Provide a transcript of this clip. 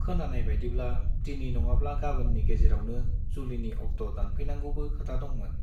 खोनानाय बाइदिब्ला दिनै नङाब्ला गाबोननि गेजेरावनो जुलिनि अक्ट' दानफैनांगौबो खोथा दंमोन।